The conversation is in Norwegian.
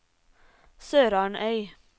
SørarnØy